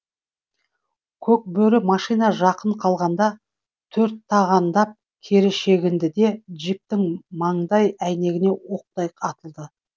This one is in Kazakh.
көкбөрі машина жақын қалғанда төрттағандап кері шегінді де джиптің маңдай әйнегіне оқтай атылды